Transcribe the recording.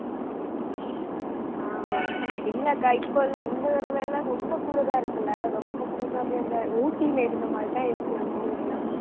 ஆஹ் இல்லக்கா இப்பல்ல இந்த தடவை எல்லாம், ரொம்ப குளிர இருக்குல்ல ரொம்ப குளிர்னா அப்படியே அந்த ஊட்டில இருந்த மாதிரி தான் இருக்கு நம்ம ஊர்ல.